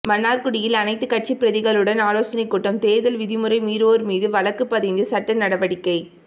மன்னார்குடியில் அனைத்து கட்சி பிரதிகளுடன் ஆலோசனை கூட்டம் தேர்தல் விதிமுறை மீறுவோர் மீது வழக்குபதிந்து சட்ட நடவடிக்கை